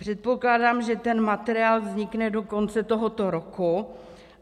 Předpokládám, že ten materiál vznikne do konce tohoto roku.